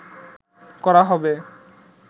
করা হবে